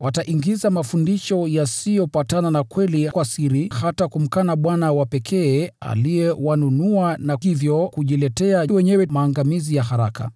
Wataingiza mafundisho yasiyopatana na kweli kwa siri, hata kumkana Bwana wa pekee aliyewanunua, na hivyo kujiletea wenyewe maangamizi ya haraka.